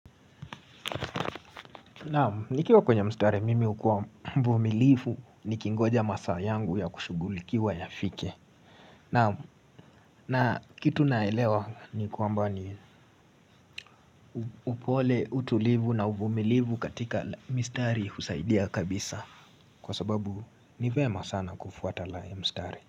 Na nikiwa kwenye mstari mimi hukua mvumilivu nikingoja masaa yangu ya kushughulikiwa yafike na kitu naelewa ni kwamba ni upole, utulivu na uvumilivu katika mistari husaidia kabisa Kwa sababu ni vyema sana kufuata la mstari.